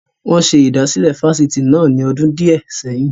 Wọn ṣe ìdásílẹ́ Fásitì náà ni ọdún di ẹ sẹ́yìn